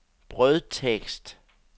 brødtekst